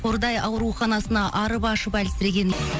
қордай ауруханасына арып ашып әлсіреген